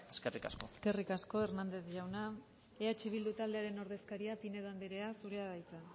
eskerrik asko eskerrik asko hernández jauna eh bildu taldearen ordezkaria pinedo andrea zurea da hitza